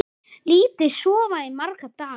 Lítið sofið í marga daga.